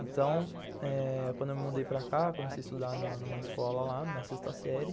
Então, eh quando eu me mudei para cá, comecei a estudar numa escola lá, na sexta série.